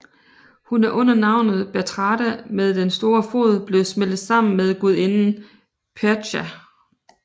Hun er under navnet Bertrada med den store fod blevet smeltet sammen med gudinden Perchta